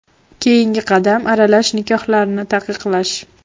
Keyingi qadam aralash nikohlarni taqiqlash.